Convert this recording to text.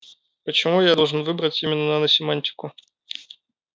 почему я должен выбрать именно на семантику